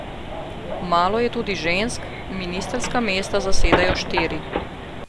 Malo je tudi žensk, ministrska mesta zasedajo štiri.